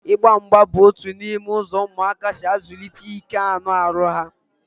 Ịgba mgba bụ otu n'ime ụzọ ụmụaka si azụlite ike anụ ahụ ha